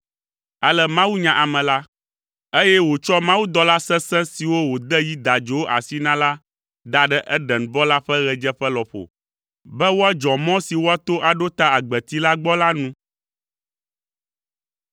Ale Mawu nya ame la, eye wòtsɔ mawudɔla sesẽ siwo wòde yi dadzowo asi na la da ɖe Edenbɔ la ƒe ɣedzeƒe lɔƒo be woadzɔ mɔ woato aɖo ta agbeti la gbɔ la nu.